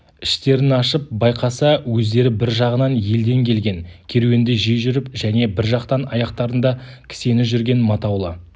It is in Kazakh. іштерін ашып байқаса өздері бір жағынан елден келген керуенді жей жүріп және бір жақтан аяқтарында кісені жүрген матаулы